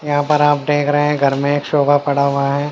यहाँ पर आप देख रहे हैं घर में एक सोफा पड़ा हुआ है।